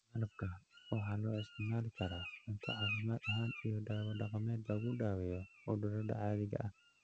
Malabka waxa loo isticmaali karaa cunto caafimaad ahaan iyo dawo dhaqameed lagu daweeyo cudurrada caadiga ah.